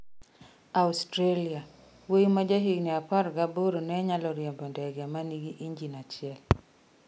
Australia: Wuoyi ma ja higni apar gaboro ne onyalo riembo ndege manigi injin achiel